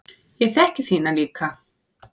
Ég þekki þína líka.